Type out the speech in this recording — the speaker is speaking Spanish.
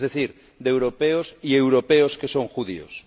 Es decir, de europeos y europeos que son judíos.